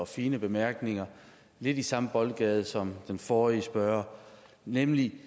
fine bemærkninger lidt i samme boldgade som den forrige spørger nemlig